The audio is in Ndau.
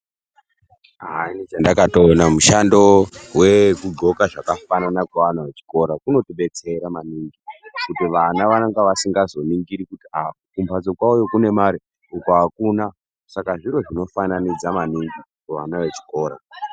Aah inini chandakatoona mushando wekugxoka zvakafanana kweana echikora kunodetsera maningi kuti vana vanenge vasingazoningiri kuti aah kumbatso kwavoyo kune mare uku akuna. Saka zviro zvonofananidza maningi kuvana vechikora.